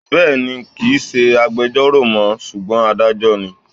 Bẹ́ẹ̀ni, kì ń ṣe agbejọ́rò mọ́ ṣùgbọ́n Adájọ́ ni.